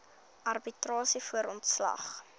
arbitrasie voor ontslag